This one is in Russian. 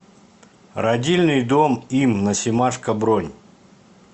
родильный дом им на семашко бронь